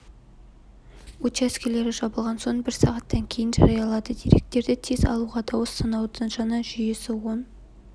учаскелері жабылған соң бір сағаттан кейін жариялады деректерді тез алуға дауыс санаудың жаңа жүйесі оң